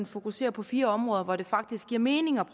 fokuserer på fire områder hvor det faktisk giver mening at